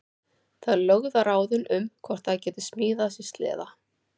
Þær lögðu á ráðin um hvort þær gætu smíðað sér sleða.